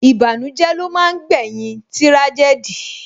Ìbànújẹ́ ló máa ń gbé yín tírájẹ́dì